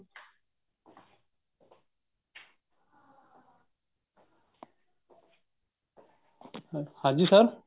ਹਾਂਜੀ sir